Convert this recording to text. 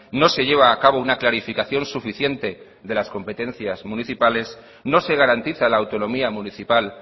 no se lleva a cabo una clarificación suficiente de las competencias municipales no se garantiza la autonomía municipal